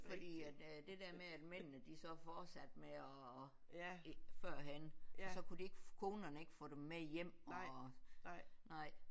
Fordi at det der med at mændene de så fortsatte med at førhen så kunne de ikke konerne ikke få dem med hjem og nej